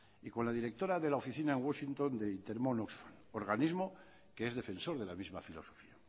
y con la directora de la oficina en washington de intermón oxfam organismo que es defensor de la misma filosofía